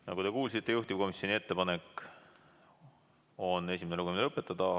Nagu te kuulsite, juhtivkomisjoni ettepanek on esimene lugemine lõpetada.